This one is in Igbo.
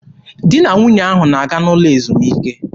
Di na nwunye ahụ na-aga n'ụlọ ezumike.